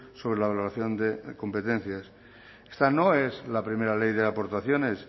sobre la valoración de competencias esta no es la primera ley de aportaciones